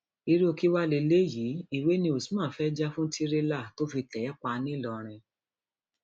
irú kí wàá lélẹyìí ìwé ni usman fẹẹ jà fún tìrẹlà tó fi tẹ ẹ pa ńlọrọrìn